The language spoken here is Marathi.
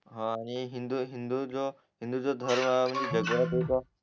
हा आणि हिंदू हिंदू जो हिंदू जो धर्म म्हणजे